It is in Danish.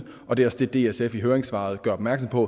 og det er også det dsf i høringssvaret gør opmærksom på